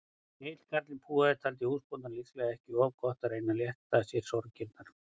Egill karlinn púaði, taldi húsbóndanum líklega ekki of gott að reyna að létta sér sorgirnar.